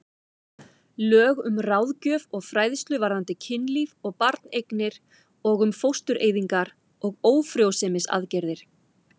Lög um ráðgjöf og fræðslu varðandi kynlíf og barneignir og um fóstureyðingar og ófrjósemisaðgerðir.